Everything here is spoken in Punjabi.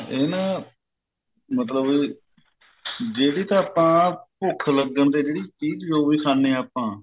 ਇਹ ਨਾ ਮਤਲਬ ਜਿਹੜੀ ਤਾਂ ਆਪਾਂ ਭੁੱਖ ਲੱਗਣ ਤੇ ਜਿਹੜੀ ਚੀਜ ਜੋ ਵੀ ਖਾਂਦੇ ਹਾਂ ਆਪਾਂ